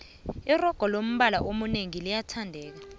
iroga lombala eminengi liyathandeka